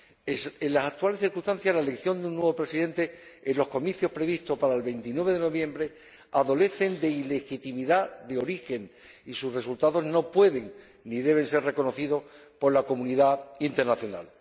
En las actuales circunstancias, la elección de un nuevo presidente en los comicios previstos para el 29 de noviembre adolece de ilegitimidad de origen, y sus resultados no pueden ni deben ser reconocidos por la comunidad internacional.